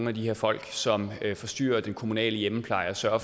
af de her folk som forstyrrer den kommunale hjemmepleje og sørger